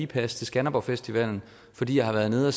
pas til skanderborgfestivalen fordi jeg har været nede og